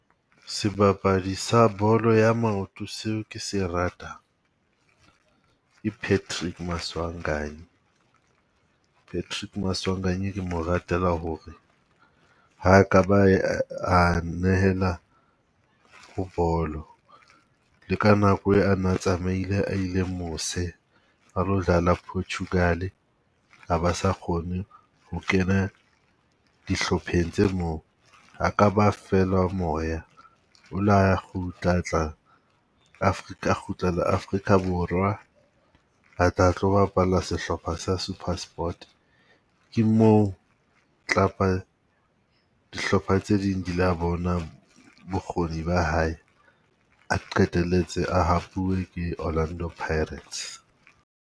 Sebapadi sa bolo ya maoto seo kese ratang, ke Patrick Maswanganye. Patrick Maswanganye ke mo ratela hore ha e ka ba a nehelwa bo bolo. Le ka nako e a na tsamaile a ile mose a lo dlala Portugal a ba sa kgone ho kena dihlopheng tse moo, ha ka ba fela moya. O la kgutla a tla Africa a kgutlela Afrika Borwa a tla tlo bapala sehlopha sa Supersport. Ke moo club-pa dihlopha tse ding di la bonang bokgoni ba hae, a qetelletse a hapuwe ke Orlando Pirates.